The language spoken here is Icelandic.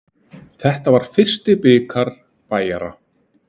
Þetta var fyrsti bikar Bæjara.